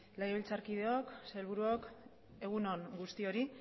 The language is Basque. legebiltzarkideok sailburuok egun on guztioi